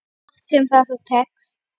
Hvort sem það svo tekst.